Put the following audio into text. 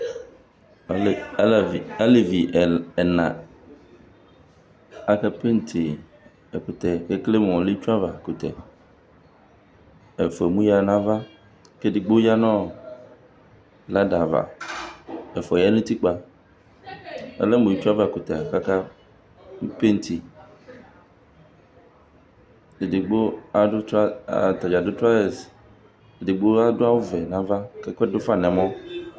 Ɔlɛ alavi elevi ɛna akapenti ɛkʋtɛ kʋ ekele mʋ ɔlɛ itsu avakʋtɛ Ɛfʋa emu yǝ nʋ ava kʋ edigbo ya nʋ blada ava Ɛfʋa ya nʋ utikpa Ɔlɛ mʋ itsuavakʋtɛ la kʋ akapenti Edigbo adʋ tɔa ata dza adʋ traɔzɛs, edigbo adʋ awʋvɛ nʋ ava kʋ ɛkʋ dʋ fa nʋ ɛmɔ